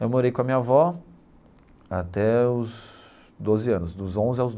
Eu morei com a minha avó até os doze anos, dos onze aos.